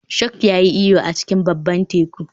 Shark ya yi iyo a cikin babban teku